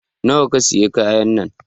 Nawa ka siya kayan nan?